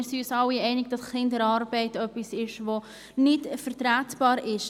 Ich glaube, wir sind uns alle einig, dass Kinderarbeit etwas ist, das nicht vertretbar ist.